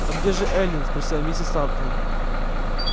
а где же эллин спросила миссис тарлтон